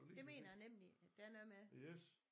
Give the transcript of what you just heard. Det mener jeg nemlig der er noget med